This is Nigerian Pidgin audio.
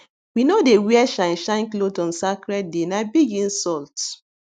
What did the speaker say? we no dey wear shineshine cloth on sacred day na na big insult